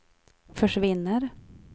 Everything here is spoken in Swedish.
försvinner